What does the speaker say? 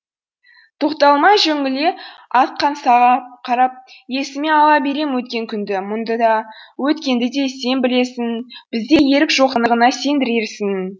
тоқталмай жөңіле аққан саған қарап есіме ала берем өткен күнді мұңды да өткенді де сен білесің бізде ерік жоқтығына сендіресің